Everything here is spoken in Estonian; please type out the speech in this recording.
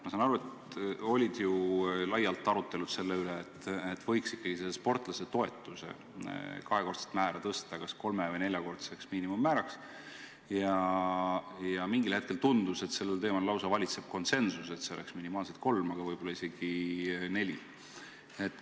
Ma saan aru, et olid laiad arutelud selle üle, et võiks ikkagi selle sportlasetoetuse kahekordset määra tõsta kas kolme- või neljakordseks, ja mingil hetkel tundus, et sellel teemal valitseb lausa konsensus, et see oleks minimaalselt kolm, aga võib-olla isegi neli miinimummäära.